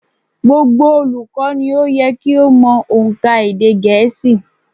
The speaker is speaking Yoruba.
Gbogbo olùkọ́ ni ó yẹ kí ó mo ónkà èdè gẹ̀ẹ́sì